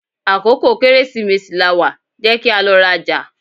Akókò Kẹ́rẹ́sìmesì lawà, jẹ́ kí a lọ rajà!